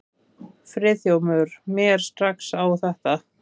Friðþjófur mér strax á þetta.